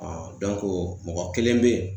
Ɔɔ dɔnku mɔgɔ kelen be yen